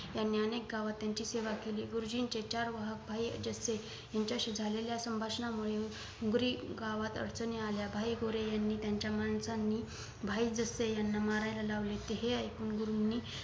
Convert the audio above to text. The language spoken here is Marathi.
यांनी अनेक गावात त्यांची सेवा केली गुरुजींचे चार वाहक भाई अजित शे यांच्याशी झालेल्या संभाषणामुळे बारी गावात अडचणी आल्या भाई गोरे यांनी यांच्या माणसाने भाई जसे यांना मारायला लावले ते हे ऐकून गुरूंनी